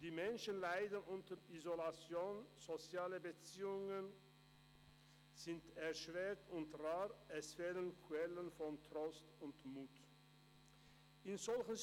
Die Menschen leiden unter Isolation, soziale Beziehungen sind erschwert und rar, es fehlen Quellen von Trost und Mut.